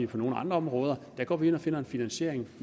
på nogle andre områder går ind og finder en finansiering